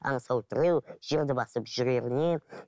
аңсау тіреу жерді басып жүрегіне